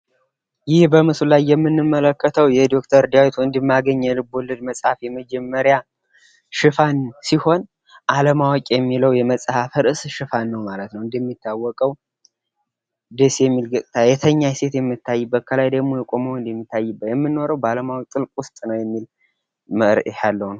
ይህ በምስሉ ላይ የምንመልከተው የዶክተር ዳዊት ወንድም አገኝ የልቦለድ መጽሃፍ የመጀመሪያ ሽፋን ሲሆን አለማወቅ የሚለው የመጽሃፍ ርእስ ሽፋን ነው ማለት ነው። እንደሚታወቀው ደስ የሚል ገጽታ የተኛች ሴት የምታይበት ከላይ ደግሞ የቆመ ወንድ የሚታይበት የምንኖረው ጥልቅ ውስጥ ነው የሚል መርህ ያለው ነው።